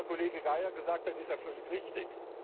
Das, was der Kollege Geier gesagt hat, ist ja völlig richtig.